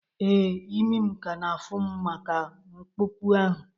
Ee, imi m ka na-afụ m maka ñkpọpu ahụ